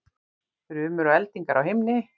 Þrumur og eldingar á himni